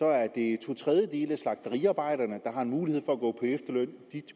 er det to tredjedele af de slagteriarbejdere der har mulighed for at gå på efterløn der